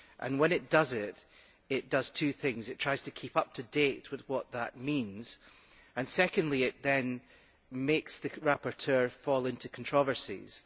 When it does it, it does two things it tries to keep up to date with what that means and, secondly, it then makes the rapporteur fall into controversies.